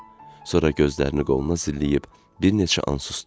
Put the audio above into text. Sonra gözlərini qoluna zilləyib, bir neçə an susdu.